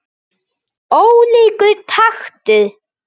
Ólíkur taktur.